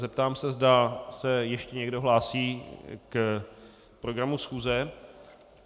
Zeptám se, zda se ještě někdo hlásí k programu schůze.